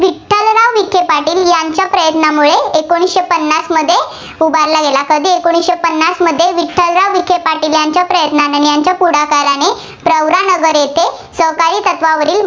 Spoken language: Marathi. विखे पाटील यांच्या प्रयत्नांमुळे एकोणीसशे पन्नासमध्ये उभारला गेला. कधी? एकोणीसशे पन्नासमध्ये विठ्ठलराव विखे पाटील यांच्या प्रयत्नांने आणि यांच्या पुढाकाराने प्रवरानगर येथे सहकारी तत्त्वावरील